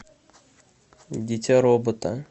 дитя робота